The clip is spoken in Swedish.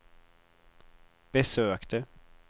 besökte